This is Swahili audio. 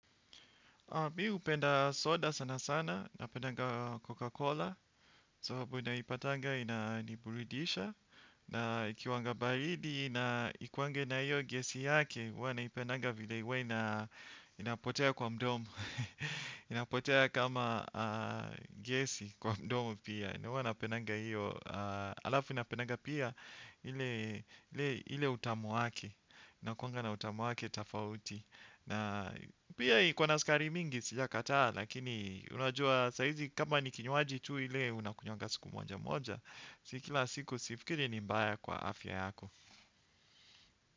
Mimi hupenda soda sana sana, napendanga Coca-Cola. Sababu naipatanga inaniburidisha. Na ikiwanga baridi, na inaikuwange na hiyo gesi yake. Huwa naipendanga vile huwa inapotea kwa mdomo. Inapotea kama gyesi kwa mdomu pia. Huwa napendanga hiyo. Halafu napendanga pia ule utamu wake. Inakuwanga na utamu wake tofauti. Na pia iko na sukari mingi sijakataa lakini, unajua saa hizi kama ni kinywaji tu kile unakunywanga siku moja moja, si kila siku sifikirii ni mbaya kwa afya yako.